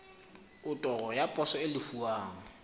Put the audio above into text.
otoro ya poso e lefuwang